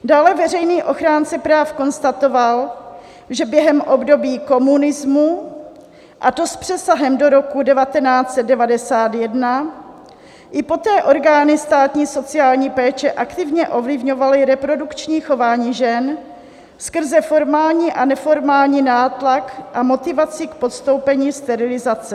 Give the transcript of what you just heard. Dále veřejný ochránce práv konstatoval, že během období komunismu, a to s přesahem do roku 1991, i poté orgány státní sociální péče aktivně ovlivňovaly reprodukční chování žen skrze formální a neformální nátlak a motivaci k podstoupení sterilizace.